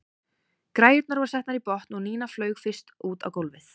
Græjurnar voru settar í botn og Nína flaug fyrst út á gólfið.